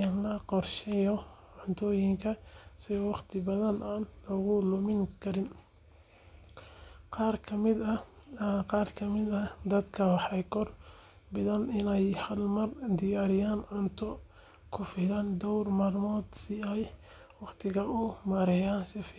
in la qorsheeyo cuntooyinka si waqti badan aan loogu lumin karinta. Qaar ka mid ah dadka waxay door bidaan in ay hal mar diyaariyaan cunto ku filan dhowr maalmood si ay waqtiga u maareeyaan si fiican. Waqti qorsheysan iyo diyaargarow hore waxay fududayn kartaa karinta, gaar ahaan marka la diyaarinayo cuntooyin adag oo u baahan dadaal.